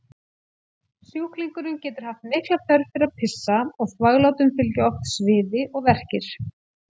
Sjúklingurinn getur haft mikla þörf fyrir að pissa og þvaglátum fylgja oft sviði og verkir.